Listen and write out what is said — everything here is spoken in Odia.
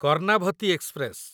କର୍ଣ୍ଣାଭତୀ ଏକ୍ସପ୍ରେସ